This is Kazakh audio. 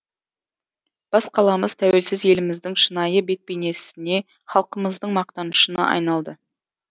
бас қаламыз тәуелсіз еліміздің шынайы бет бейнесіне халқымыздың мақтанышына айналды